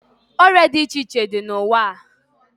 Oria di iche iche di na uwaa